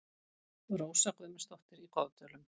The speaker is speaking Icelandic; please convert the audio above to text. Rósa Guðmundsdóttir í Goðdölum